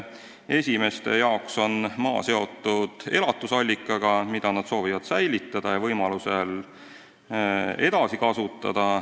Ühtede jaoks on maa seotud elatusallikaga, mida nad soovivad säilitada ja võimalusel edasi kasutada.